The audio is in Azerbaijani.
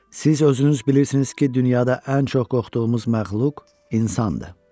Siz özünüz bilirsiniz ki, dünyada ən çox qorxduğumuz məxluq insandır.